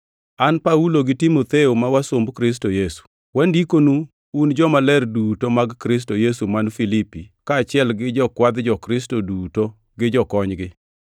An Paulo gi Timotheo ma wasumb Kristo Yesu, Wandikonu un jomaler duto mag Kristo Yesu man Filipi, kaachiel gi jokwadh jo-Kristo duto gi jokonygi: